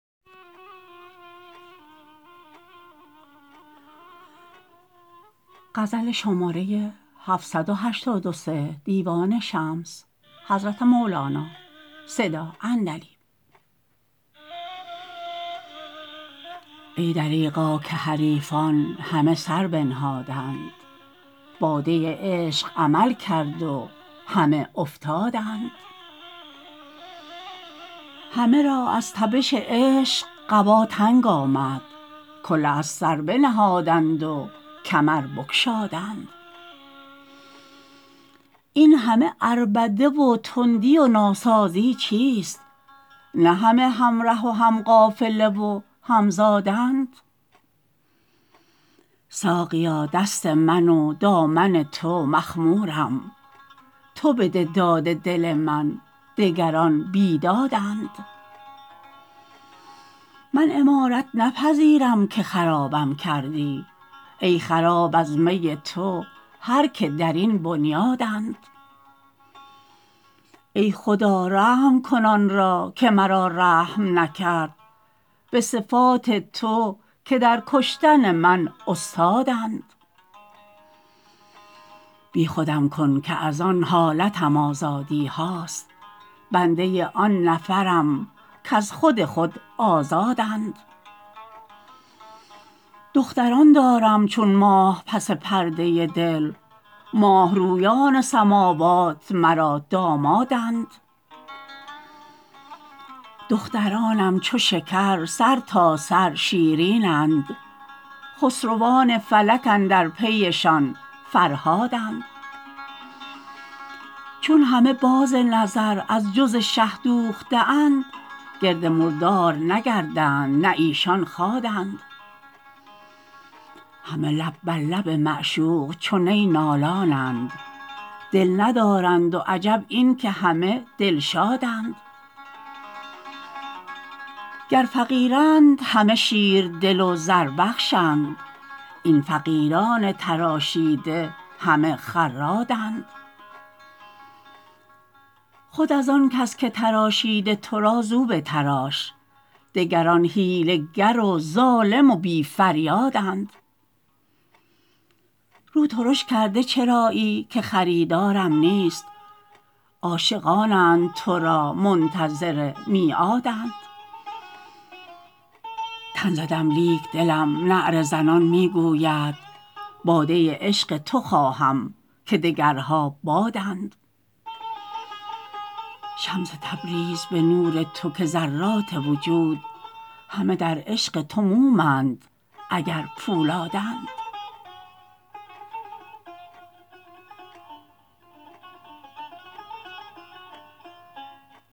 ای دریغا که حریفان همه سر بنهادند باده عشق عمل کرد و همه افتادند همه را از تبش عشق قبا تنگ آمد کله از سر بنهادند و کمر بگشادند این همه عربده و تندی و ناسازی چیست نه همه همره و هم قافله و هم زادند ساقیا دست من و دامن تو مخمورم تو بده داد دل من دگران بیدادند من عمارت نپذیرم که خرابم کردی ای خراب از می تو هر کی در این بنیادند ای خدا رحم کن آن را که مرا رحم نکرد به صفات تو که در کشتن من استادند بیخودم کن که از آن حالتم آزادیهاست بنده آن نفرم کز خود خود آزادند دختران دارم چون ماه پس پرده دل ماه رویان سماوات مرا دامادند دخترانم چو شکر سرتاسر شیرینند خسروان فلک اندر پیشان فرهادند چون همه باز نظر از جز شه دوخته اند گرد مردار نگردند نه ایشان خادند همه لب بر لب معشوق چو نی نالانند دل ندارند و عجب این که همه دلشادند گر فقیرند همه شیردل و زربخش اند این فقیران تراشنده همه خرادند خود از آن کس که تراشیده تو را زو بتراش دگران حیله گر و ظالم و بی فریادند رو ترش کرده چرایی که خریدارم نیست عاشقانند تو را منتظر میعادند تن زدم لیک دلم نعره زنان می گوید باده عشق تو خواهم که دگرها بادند شمس تبریز به نور تو که ذرات وجود همه در عشق تو موم اند اگر پولادند